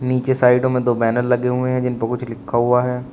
नीचे साइडों में दो बैनर लगे हुए हैं जिनपे कुछ लिखा हुआ है।